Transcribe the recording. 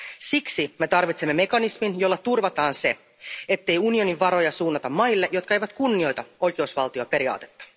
Siksi me tarvitsemme mekanismin, jolla turvataan se, ettei unionin varoja suunnata maille, jotka eivät kunnioita oikeusvaltioperiaatetta.